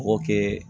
Mɔgɔ kɛ